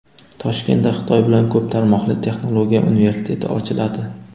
Toshkentda Xitoy bilan ko‘p tarmoqli texnologiya universiteti ochiladi.